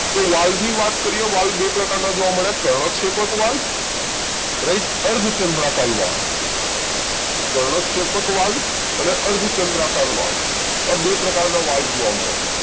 તો વાલ્વ ની વાત કરીએ વાલ્વ બે પ્રકારના જોવા મળે છે કર્ણકશેપક વાલ્વ રાઈટ અર્ધચંદ્રાકાર વાલ્વ કર્ણકશેપક વાલ્વ અને અર્ધચંદ્રાકાર વાલ્વ. આ બે પ્રકારના વાલ્વ જોવા મળે છે